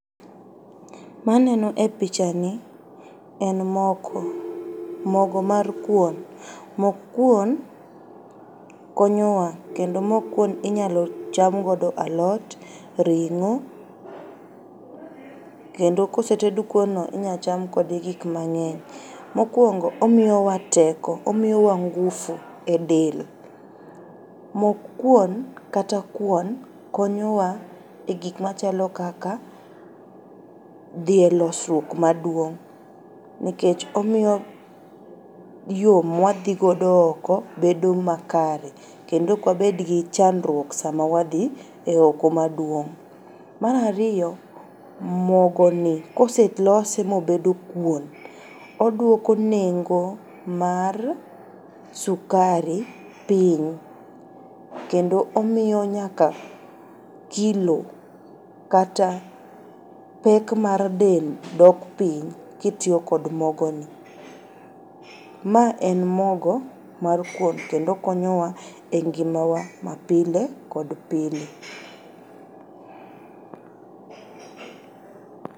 Maneno e pichani en mogo mar kuon. Mok kuon konyowa kendo mok kuon inyalocham godo alot, ring'o kendo koseted kuonno inyacham kode gik mang'eny. Mokuongo omiyowa teko, omiyowa ngufu e del. Mok kuon kata kuon konyowa e gikmachalo kaka dhi e losruok maduong’ nikech omiyo yoo mwadhigodo oko bedo makare kendo okwabedgi chandruok sama wadhi e oko maduong'.Mar ariyo mogoni koselose mobedo kuon oduoko nengo mar sukari piny kendo omiyo nyaka kilo kata pek mar del dok piny kitiyo kod mogoni. Ma en mogo mar kuon kendo okonyowa e ngimawa mapile kod pile.